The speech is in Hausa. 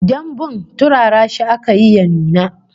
Dambun turara shi aka yi ya nuna